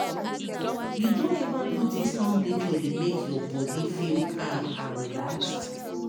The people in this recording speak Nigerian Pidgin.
you don ever notice how nature dey make your body feel calm and relaxed?